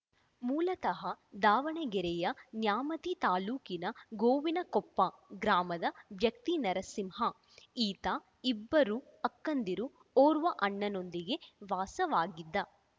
ಮೂಲತಃ ದಾವಣಗೆರೆಯ ನ್ಯಾಮತಿ ತಾಲೂಕಿನ ಗೋವಿನಕೊಪ್ಪ ಗ್ರಾಮದ ವ್ಯಕ್ತಿ ನರಸಿಂಹ ಈತ ಇಬ್ಬರು ಅಕ್ಕಂದಿರು ಓರ್ವ ಅಣ್ಣನೊಂದಿಗೆ ವಾಸವಾಗಿದ್ದ